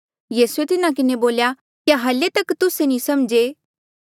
यीसूए तिन्हा किन्हें बोल्या क्या हल्ली तक तुस्से नी समझे